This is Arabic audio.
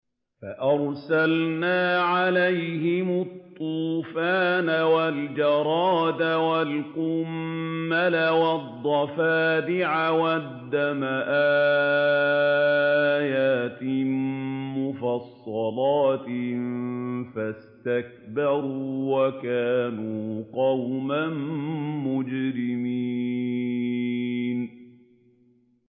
فَأَرْسَلْنَا عَلَيْهِمُ الطُّوفَانَ وَالْجَرَادَ وَالْقُمَّلَ وَالضَّفَادِعَ وَالدَّمَ آيَاتٍ مُّفَصَّلَاتٍ فَاسْتَكْبَرُوا وَكَانُوا قَوْمًا مُّجْرِمِينَ